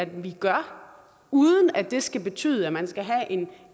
vi gør uden at det skal betyde at man skal have en